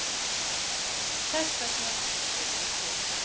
Þessvegna eru við hér.